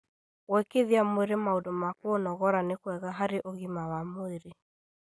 Gwĩkithia mwĩrĩ maũndũ ma kũũnogora nĩ kwega harĩ ũgima wa mwĩrĩ